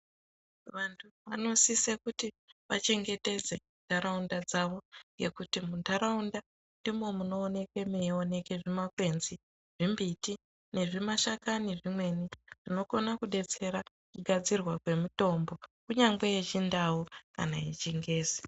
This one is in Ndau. Vantu vanosise kuti vachengete ntaraunda dzavo. Ngekuti muntaraunda ndimwo munooneke meioneke zvimakwenzi, nembiti nezvimashakani zvemene, zvinokona kudetsera kugadzirwa kwemitombo, kunyangwe yeChiNdau kana yaChiNgezi.